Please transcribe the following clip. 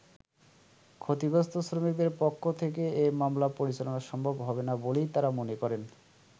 ক্ষতিগ্রস্থ শ্রমিকদের পক্ষ থেকে এই মামলা পরিচালনা সম্ভব হবে না বলেই তারা মনে করেন।